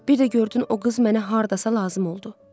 Bir də gördün o qız mənə hardasa lazım oldu.